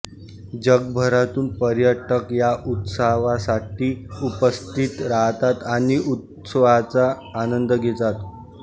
जगभरातून पर्यटक या उत्सवासाठी उपस्थित राहतात आणि उत्सवाचा आनंद घेतात